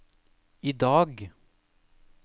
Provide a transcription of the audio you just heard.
idag